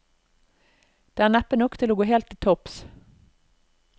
Det er neppe nok til å gå helt til topps.